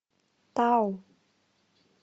тау